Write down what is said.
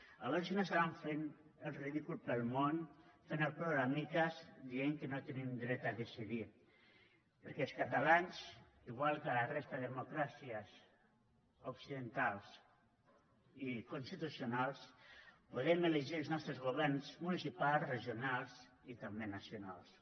a veure si no estaran fent el ridícul pel món fent el ploramiques dient que no tenim dret a decidir perquè els catalans igual que a la resta de democràcies occidentals i constitucionals podem elegir els nostres governs municipals regionals i també nacionals